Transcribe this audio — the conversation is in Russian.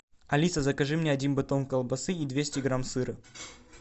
алиса закажи мне один батон колбасы и двести грамм сыра